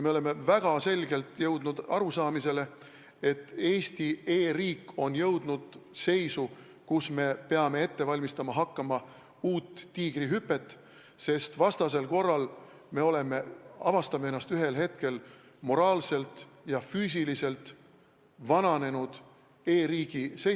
Me oleme väga selgelt jõudnud arusaamisele, et Eesti e-riik on jõudnud seisu, kus me peame hakkama ette valmistama uut tiigrihüpet, sest muidu me avastame ennast ühel hetkel moraalselt ja füüsiliselt vananenud e-riigist.